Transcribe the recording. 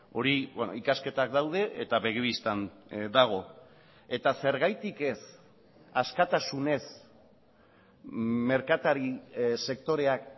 hori ikasketak daude eta begi bistan dago eta zergatik ez askatasunez merkatari sektoreak